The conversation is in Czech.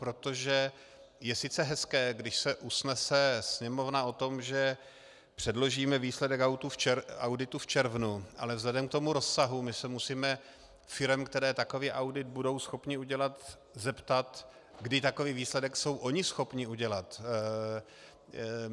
Protože je sice hezké, když se usnese Sněmovna o tom, že předložíme výsledek auditu v červnu, ale vzhledem k tomu rozsahu my se musíme firem, které takový audit budou schopny udělat, zeptat, kdy takový výsledek jsou ony schopny udělat.